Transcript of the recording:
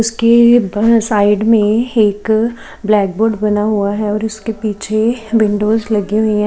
उसके बाएं साइड में एक ब्लैक बोर्ड बना हुआ है और उसके पीछे विंडोज लगी हुई हैं।